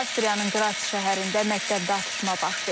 Avstriyanın Qras şəhərində məktəbdə atışma baş verib.